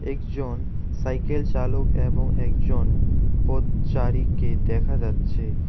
একজন সাইকেল চালক এ্যাবং একজন পথচারীকে দেখা যাচ্ছে।